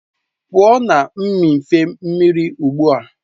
Pụọ na mmịfe mmiri ugbu a!